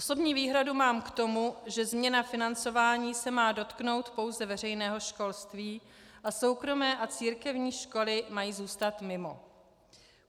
Osobní výhradu mám k tomu, že změna financování se má dotknout pouze veřejného školství a soukromé a církevní školy mají zůstat mimo.